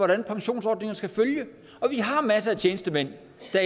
regler pensionsordningen skal følge vi har masser af tjenestemænd